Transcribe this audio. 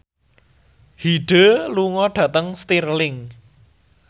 Hyde lunga dhateng Stirling